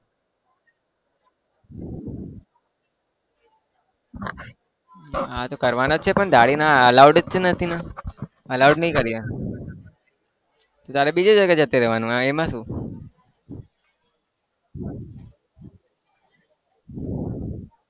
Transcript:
કરવાના છીએ પણ દાઢીના allowed જ નથી ને allowed નહીં કરીએ તો તારે બીજી જગ્યાએ જતું રહેવાનું. હા એમાં શું?